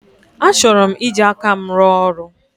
Achọrọ m iji aka m rụọ ọrụ.